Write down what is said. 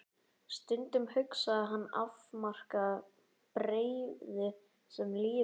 Stundum hugsaði hann afmarkaða breiðu sem lífið.